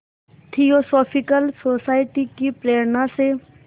theosophical society की प्रेरणा से